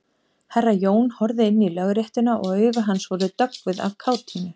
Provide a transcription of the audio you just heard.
Herra Jón horfði inn í Lögréttuna og augu hans voru döggvuð af kátínu.